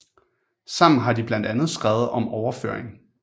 Sammen har de blandt andet skrevet om overføring